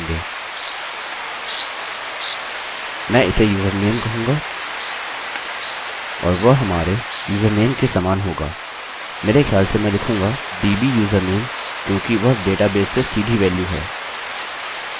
मैं इसे username कहूँगा और वह हमारे username के समान होगा मेरे ख्याल से मैं लिखूँगा dbusername क्योंकि वह डेटाबेस से सीधी वेल्यू है